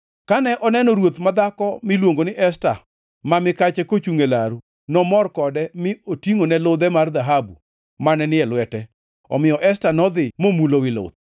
Kane oneno ruoth madhako miluongo ni Esta ma mikache kochungʼ e laru, nomor kode mi otingʼone ludhe mar dhahabu mane ni e lwete. Omiyo Esta nodhi momulo wi luth.